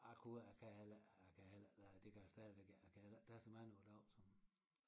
A kunne å a kan heller æ jeg kan heller det gør a stadigvæk æ a kan heller ikke tage så mange å a dag som